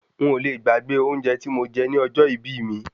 Ń ò le gbàgbé oúnjẹ tí mo jẹ ní ọjọ́ ìbí mi.